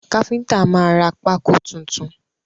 Káfíntà máa ra pákó tuntun.